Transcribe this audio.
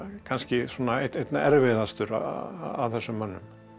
kannski svona einna erfiðastur af þessum mönnum